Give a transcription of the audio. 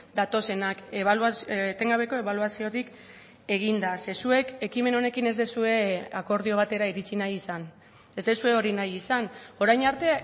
datozenak etengabeko ebaluaziotik eginda ze zuek ekimen honekin ez duzue akordio batera iritxi nahi izan ez duzue hori nahi izan orain arte